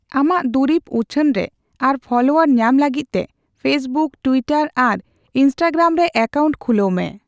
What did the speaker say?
ᱟᱢᱟᱜ ᱫᱩᱨᱤᱵᱽ ᱩᱪᱷᱟᱹᱱ ᱨᱮ ᱟᱨ ᱯᱷᱚᱞᱳᱣᱟᱨ ᱧᱟᱢ ᱞᱟᱹᱜᱤᱫ ᱛᱮ ᱯᱷᱮᱥᱵᱩᱠ, ᱴᱩᱭᱴᱟᱨ ᱟᱨ ᱤᱱᱥᱴᱟᱜᱨᱟᱢ ᱨᱮ ᱮᱠᱟᱣᱩᱱᱴ ᱠᱷᱩᱞᱟᱹᱣ ᱢᱮ ᱾